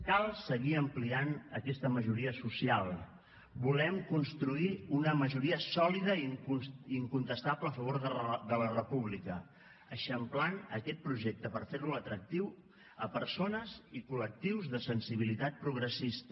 cal seguir ampliant aquesta majoria social volem construir una majoria sòlida i incontestable a favor de la república eixamplant aquest projecte per fer lo atractiu a persones i col·lectius de sensibilitat progressista